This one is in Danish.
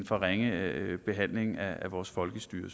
for ringe behandling af vores folkestyre